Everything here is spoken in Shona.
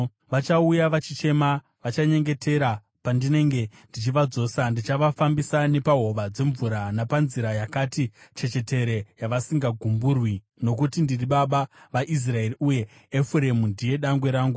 Vachauya vachichema; vachanyengetera pandinenge ndichivadzosa. Ndichavafambisa nepahova dzemvura, napanzira yakati chechetere yavasingagumburwi, nokuti ndiri baba vaIsraeri, uye Efuremu ndiye dangwe rangu.